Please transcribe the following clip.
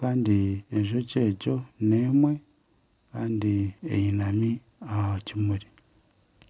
kandi enjoki egyo n'emwe kandi einami aha kimuri.